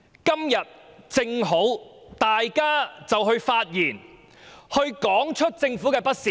今天正好讓大家發言，指出政府的不是。